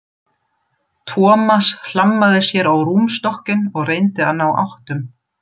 Thomas hlammaði sér á rúmstokkinn og reyndi að ná áttum.